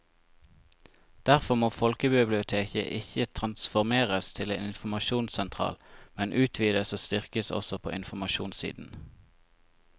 Derfor må folkebiblioteket ikke transformeres til en informasjonssentral, men utvides og styrkes også på informasjonssiden.